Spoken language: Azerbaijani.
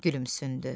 Gülümsündü.